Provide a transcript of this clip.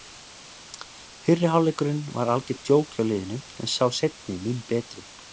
Fyrri hálfleikurinn var algert djók hjá liðinu en sá seinni mun betri.